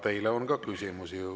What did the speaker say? Teile on ka küsimusi.